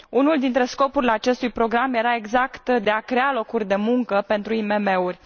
Unul dintre scopurile acestui program era exact de a crea locuri de muncă pentru IMM uri.